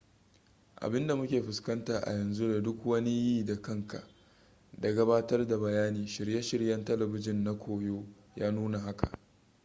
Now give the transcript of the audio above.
abin da muke fuskanta a yanzu da duk wani yi-da-kanka da gabatar da bayani shirye-shiryen talabijin na koyo ya nuna haka